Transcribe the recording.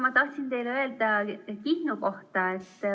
Ma tahtsin teile rääkida Kihnu kohta.